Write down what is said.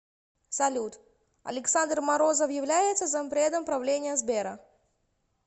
салют александр морозов является зампредом правления сбера